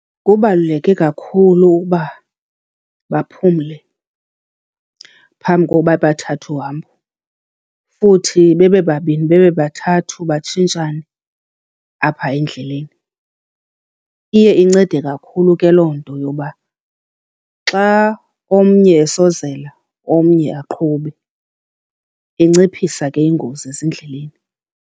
Kubaluleke kakhulu ukuba baphumle phambi koba bathathe uhambo, futhi bebebabini bebebathathu batshintshane apha endleleni. Iye incede kakhulu ke loo nto yoba xa omnye esozela omnye aqhube, enciphisa ke iingozi ezindleleni.